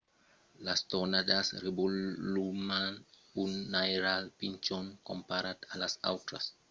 las tornadas revoluman un airal pichon comparat a las autras tempèstas violentas mas pòdon destruire tot sus son camin